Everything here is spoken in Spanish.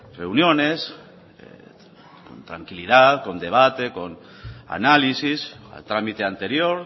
reuniones con tranquilidad con debate con análisis al trámite anterior